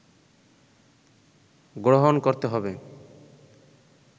গ্রহণ করতে হবে